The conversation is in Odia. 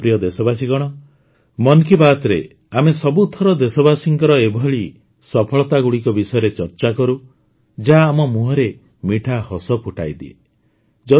ମୋର ପ୍ରିୟ ଦେଶବାସୀଗଣ ମନ୍ କୀ ବାତ୍ରେ ଆମେ ସବୁଥର ଦେଶବାସୀଙ୍କର ଏଭଳି ସଫଳତାଗୁଡ଼ିକ ବିଷୟରେ ଚର୍ଚ୍ଚା କରୁ ଯାହା ଆମ ମୁହଁରେ ମିଠା ହସ ଫୁଟାଇଦିଏ